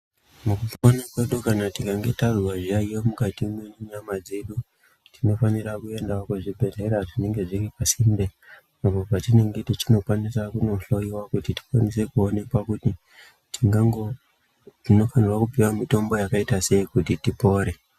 Mukupona kwedu kana tikange tazwe zviyaiyo mukati mwenyama dzedu tinofanirawo kuenda kuzvibhedhlera zvinenge zviri pasinte apo patinenge tichikwanisa kunohloiwa kuti tikwanise kuonekwa kuti tingango tinofanira kupuwa mitombo yakaitasei kuti tipore.